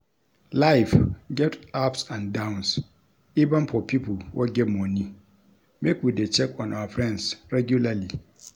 LIfe get ups and downs even for pipo wey get moni make we de check on our friends regularly